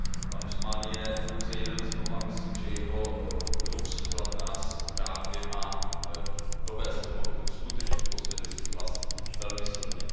Pan Usmán je pouze jeden z mnoha, myslím, že jeho příklad nás právě má dovést k tomu, abychom skutečně pozvedli svůj hlas velmi silně.